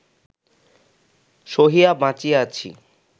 সহিয়া বাঁচিয়া আছি